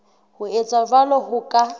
ho etsa jwalo ho ka